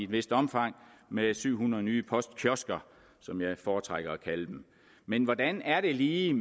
vist omfang med syv hundrede nye postkiosker som jeg foretrækker at kalde dem men hvordan er det lige